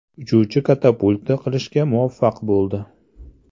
Uchuvchi katapulta qilishga muvaffaq bo‘ldi.